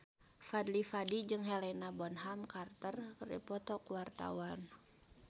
Fadly Padi jeung Helena Bonham Carter keur dipoto ku wartawan